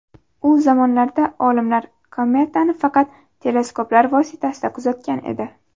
U zamonlarda olimlar kometani faqat teleskoplar vositasida kuzatgan edi.